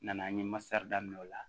N nana n ye masa daminɛ o la